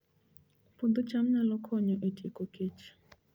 Puodho cham nyalo konyo e tieko kech